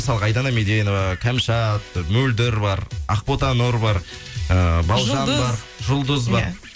мысалғы айдана меденова камшат мөлдір бар ақбота нұр бар эээ балжан бар жұлдыз бар